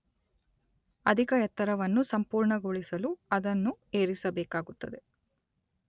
ಅಧಿಕ ಎತ್ತರವನ್ನು ಸಂಪೂರ್ಣಗೊಳಿಸಲು ಅದನ್ನು ಏರಿಸಬೇಕಾಗುತ್ತದೆ.